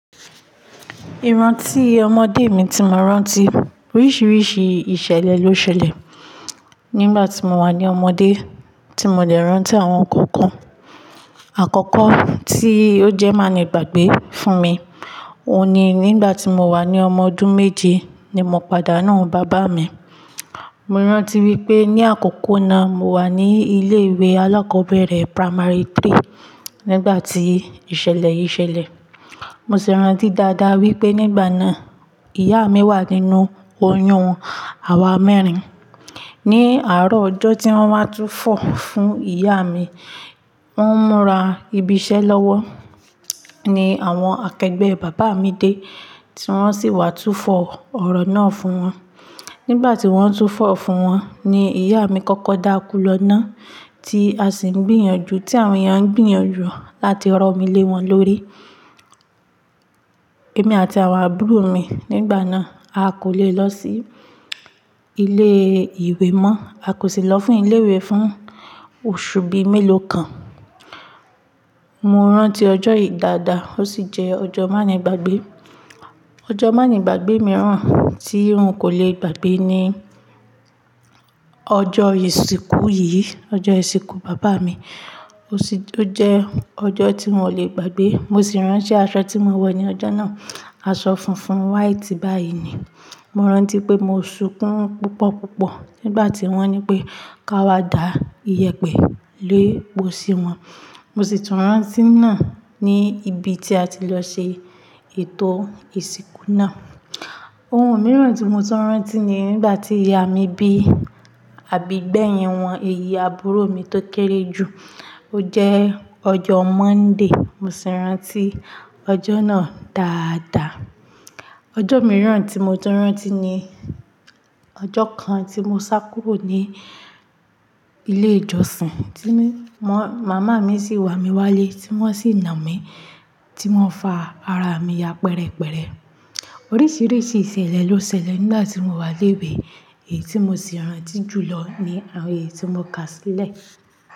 Ìrántí ọmọdé mi tí mo rántí, oríṣiríṣi ìṣẹ̀lẹ̀ ló ṣẹlẹ̀. Nígbà tí mo wà ní ọmọdé tí mo lè rántí àwọn nǹkan kan. Àkọ́kọ́ tí ó jẹ́ má le gbàgbé fún mi, òun ni nígbà tí mo wà ní ọmọ ọdún méje ni mo pàdánù bàbá mi. Mo rántí wípé ní àkókò náà mo wà ní ilé ìwé alákọ̀ọ́bẹ̀rẹ̀ primary three nígbà tí ìṣẹ̀lẹ̀ yìí ṣẹlẹ̀. Mo sì rántí dáadáa wípé nígbà náà ìyá mi wà nínú oyún àwa mẹ́rin. Ni àárọ̀ ọjọ́ tí wọ́n wá túfọ̀ fún ìyá mi, wọ́n múra ibi iṣẹ́ lọ́wọ́ ní àwọn akẹgbẹ́ bàbá mi dé tí wọ́n sì wá túfọ̀ ọ̀rọ̀ náà fún wọn. Nígbà tí wọ́n ń túfọ̀ fún wọn ni ìyá mi kọ́kọ́ dákú lọ náà tí a sì ń gbìyànjú tí àwọn èèyàn ń gbìyànjú láti rọ mí lé wọn lórí. Èmi àti àwọn àbúrò mi nígbà náà a kò le lọ sí ilé ìwé mọ́. A kò sì lọ fún ilé ìwé fún oṣù bíi mélòó kan. Mo rántí ọjọ́ yìí dáadáa, ó sì jẹ́ ọjọ́ má nìgbàgbé. Ọjọ́ má'nìgbàgbé mìíràn tí n kò le gbàgbé ni ọjọ́ ìsìnkú yìí, ọjọ́ ìsìnkú bàbá mi. Ó sì jẹ́ ọjọ́ tí n ò le gbàgbé. Mo sì rántí aṣọ tí mo wọ̀ ní ọjọ́ náà, aṣọ funfun white báyìí ni. Mo rántí pé mo sunkún púpọ̀ púpọ̀ nígbà tí wọ́n nipé ká wá dá ìyẹ̀pẹ̀ lé posí wọn. Mo sì tún rántí náà ní ibi tí a ti lọ ṣe ètò ìsìnkú náà. Ohun mìíràn tí mo tún rántí ni nígbà tí ìyá mi bí àbí gbẹ̀yin wọn, èyí àbúrò mi tó kéré jù. Ó jẹ́ ọjọ́ Monday, mo sì rántí ọjọ́ náà dáadáa. Ọjọ́ mìíràn tí mo tún rántí ni ọjọ́ kan tí mo sá kúrò ní ilé ìjọsìn tí m-máa-màmá mi sì wà mí wálé tí wọ́n sì nà mí tí wọ́n fa ara mi ya pẹ̀rẹ̀pẹ̀rẹ̀. Oríṣiríṣi ìṣẹ̀lẹ̀ ló ṣẹlẹ̀ nígbà tí mo wà léwe èyí tí mo sì rántí jùlọ ni àwọn èyí tí mo kà sílẹ̀.